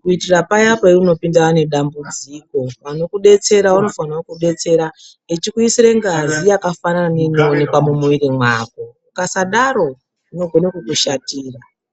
kuitira paya paunopindana nedambudziko, anokudetsera anofane kukudatsera eikuisire ngazi yakafanana neiri mumwiri mako. Ukasadaro zvinokone kukushatira.